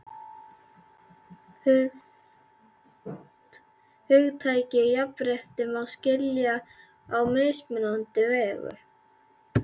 Hugtakið jafnrétti má skilja á mismunandi vegu.